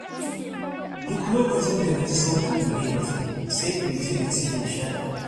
Duk lokacin da na ji sautin muryarki, sai in ji ni cikin nishaɗi.